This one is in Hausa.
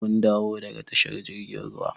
Mun dawo daga tashar jirgin ruwa.